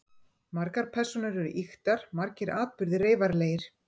Margar persónur eru ýktar, margir atburðir reyfaralegir.